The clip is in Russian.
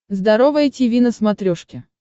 здоровое тиви на смотрешке